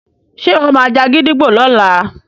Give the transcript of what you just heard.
ṣe iwọ má já gídígbò lọla?